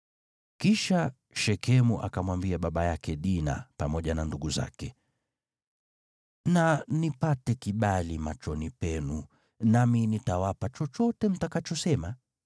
Kisha Shekemu akamwambia baba yake Dina pamoja na ndugu zake, “Na nipate kibali machoni penu, nami nitawapa chochote mtakachosema.